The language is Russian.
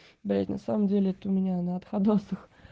блять на самом деле это у меня на отходосах